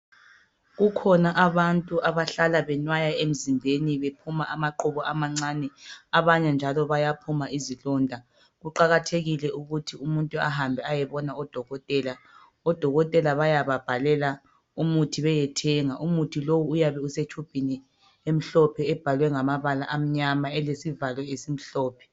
Kukhona abantu abahlala benwaya emzimbeni bephuma amaqhubu amancane abanye njalo bayaphuma izilonda kuqakathekile ukuthi umuntu ahambe ayobona oDokotela, oDokotela bayababhalela umuthi beye thenga umuthi lo uyabe usetshubhini emhlophe ebhalwe ngamabala amnyama elesivalo esimhlophe